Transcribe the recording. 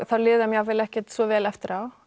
þá líður þeim jafnvel ekkert svo vel eftir á